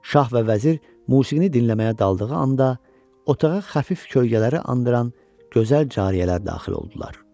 Şah və vəzir musiqini dinləməyə daldığı anda, otağa xəfif kölgələri andıran gözəl cariyələr daxil oldular.